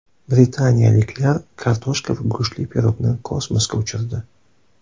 Britaniyaliklar kartoshka va go‘shtli pirogni kosmosga uchirdi .